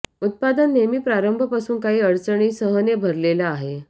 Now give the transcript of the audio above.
उत्पादन नेहमी प्रारंभ पासून काही अडचणी सह ने भरलेला आहे